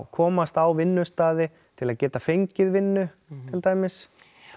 komast á vinnustaði til að geta fengið vinnu til dæmis